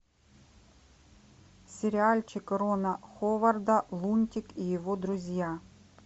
сериальчик рона ховарда лунтик и его друзья